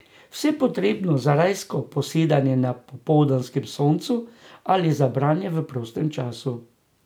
Vse potrebno za rajsko posedanje na popoldanskem soncu ali za branje v prostem času.